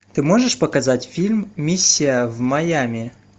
ты можешь показать фильм миссия в майами